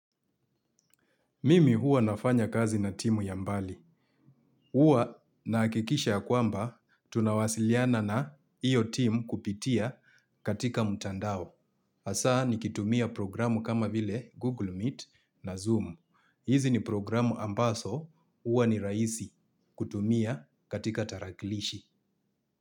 Mimi huwa nafanya kazi na timu ya mbali. Huwa nahakikisha yakwamba tunawasiliana na hiyo timu kupitia katika mtandao. Hasaa nikitumia programu kama vile Google Meet na Zoom. Hizi ni programu ambazo huwa ni raisi kutumia katika tarakilishi.